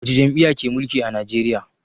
Wata jam'iyya ke mulki a Najeriya?